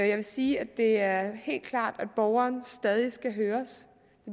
jeg vil sige at det er helt klart at borgeren stadig skal høres